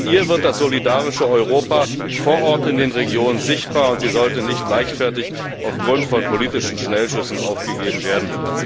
In ihr wird das solidarische Europa vor Ort in den Regionen sichtbar, und sie sollte nicht leichtfertig aufgrund von politischen Schnellschüssen aufgegeben werden.